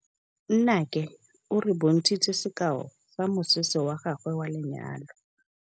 Nnake o re bontshitse sekaô sa mosese wa gagwe wa lenyalo.